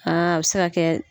a bɛ se ka kɛ